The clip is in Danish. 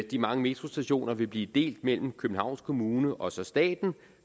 de mange metrostationer vil blive delt mellem københavns kommune og staten